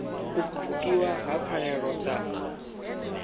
u pfukiwa ha pfanelo dza